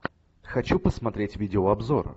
хочу посмотреть видеообзор